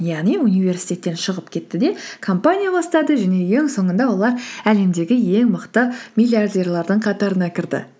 яғни университеттен шығып кетті де компания бастады және ең соңында олар әлемдегі ең мықты миллиардерлердің қатарына кірді